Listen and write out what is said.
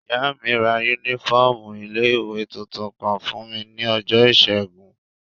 Ìyá mi ra yúnífọ́ọ̀mù ilé-ìwé tuntun kan fún mi ní ọjọ́ ìṣẹ́gun